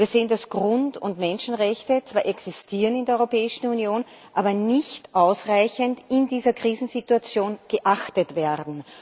Wir sehen, dass Grund und Menschenrechte zwar existieren in der Europäischen Union, aber nicht ausreichend in dieser Krisensituation geachtet werden.